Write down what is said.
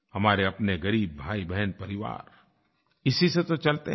हमारे अपने ग़रीब भाईबहन परिवार इसी से तो चलते हैं